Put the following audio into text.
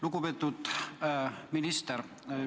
Lugupeetud minister!